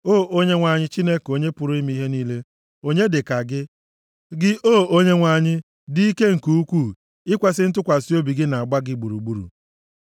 O Onyenwe anyị Chineke Onye pụrụ ime ihe niile, onye dịka gị? Gị, O Onyenwe anyị, dị ike nke ukwuu, ikwesi ntụkwasị obi gị na-agba gị gburugburu.